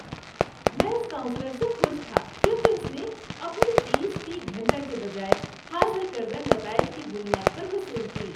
میں اس کاؤنسلر سے خوش تھا کیونکہ اس نے اپنی فیس فی گھنٹہ کے بجائے حاصل کردہ نتائج کی بنیاد پر وصول کی۔